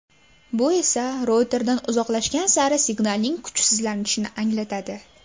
Bu esa routerdan uzoqlashgan sari signalning kuchsizlanishini anglatadi.